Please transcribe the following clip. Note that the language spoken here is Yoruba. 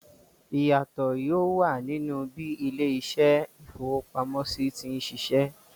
Ìyàtò yóò wà nínú bí ilé-iṣẹ́ ìfowópamọ́sí ti ń ṣiṣẹ́.